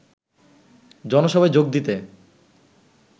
জনসভায় যোগ দিতে